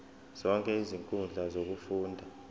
zonke izinkundla zokufunda